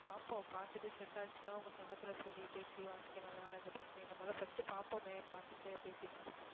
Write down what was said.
பார்ப்போம் பார்த்துட்டு set ஆச்சுன்னா உங்க சங்கத்திலே சொல்லி பேசி வாங்கிக்கலாம் அதனாலே இந்த பிரச்சனை முதல்ல first பார்ப்போமே பார்த்துட்டு பேசிப்போம்